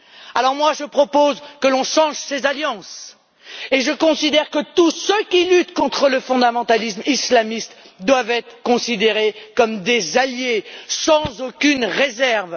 Alors, je propose que l'on change ces alliances et je considère que tous ceux qui luttent contre le fondamentalisme islamiste doivent être considérés comme des alliés, sans aucune réserve.